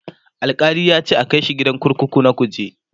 Alkali yace a Kai shi gidan kurkuku na kuje